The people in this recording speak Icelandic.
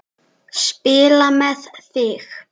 Spila með þig?